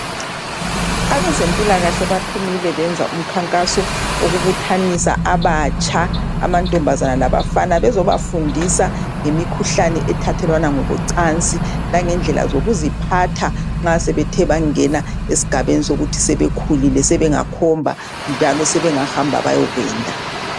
Abezempilakahle baphumile benza umkhankaso wokubuthanisa abatsha, amantombazane labafana bezobafundisa ngemikhuhlane ethathelwana ngokocansi langendlela zokuziphatha nxa sebethe bangena esigabeni sokuthi sebekhulile sebengakhomba njalo sebengahamba ukuthi beyokwenda.